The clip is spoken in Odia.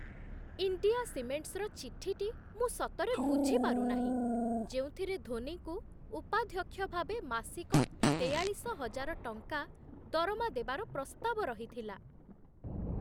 ଇଣ୍ଡିଆ ସିମେଣ୍ଟସ୍'ର ଚିଠିଟି ମୁଁ ସତରେ ବୁଝିପାରୁନାହିଁ, ଯେଉଁଥିରେ ଧୋନିଙ୍କୁ ଉପାଧ୍ୟକ୍ଷ ଭାବେ ମାସିକ ତେୟାଳିଶ ହଜାର ଟଙ୍କା ଦରମା ଦେବାର ପ୍ରସ୍ତାବ ରହିଥିଲା।